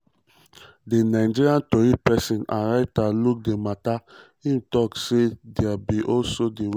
di nigerian tori pesin and writer look di mata um tok say "dia be also di way